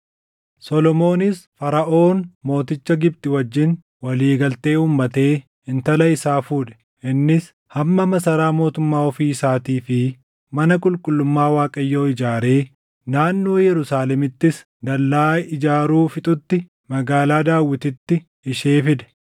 Solomoonis Faraʼoon mooticha Gibxi wajjin walii galtee uummatee intala isaa fuudhe. Innis hamma masaraa mootummaa ofii isaatii fi mana qulqullummaa Waaqayyoo ijaaree, naannoo Yerusaalemittis dallaa ijaaruu fixutti magaalaa Daawititti ishee fide.